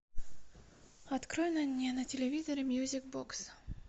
открой мне на телевизоре мьюзик бокс